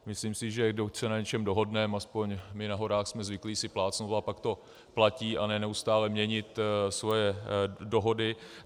Myslím si, že pokud se na něčem dohodneme, aspoň my na horách jsme zvyklí si plácnout, a pak to platí, a ne neustále měnit svoje dohody.